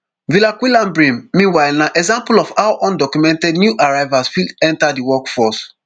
villaquilambre meanwhile na example of how undocumented new arrivals fit enta di workforce